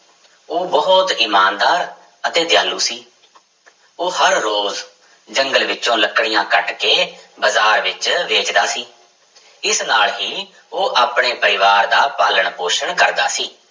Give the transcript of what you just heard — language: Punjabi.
ਉਹ ਬਹੁਤ ਇਮਾਨਦਾਰ ਅਤੇ ਦਿਆਲੂ ਸੀ ਉਹ ਹਰ ਰੋਜ਼ ਜੰਗਲ ਵਿੱਚੋਂ ਲੱਕੜੀਆਂ ਕੱਟ ਕੇ ਬਾਜ਼ਾਰ ਵਿੱਚ ਵੇਚਦਾ ਸੀ, ਇਸ ਨਾਲ ਹੀ ਉਹ ਆਪਣੇ ਪਰਿਵਾਰ ਦਾ ਪਾਲਣ ਪੋਸ਼ਣ ਕਰਦਾ ਸੀ।